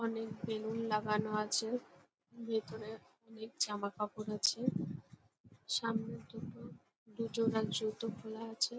অনেক বেলুন লাগানো আছে। ভেতরে অনেক জামাকাপড় আছে। সামনে দুটো দুজনার জুতো খোলা আছে ।